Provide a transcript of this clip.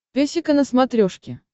песика на смотрешке